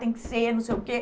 Tem que ser, não sei o quê.